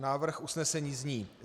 Návrh usnesení zní: